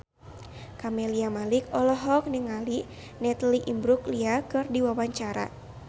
Camelia Malik olohok ningali Natalie Imbruglia keur diwawancara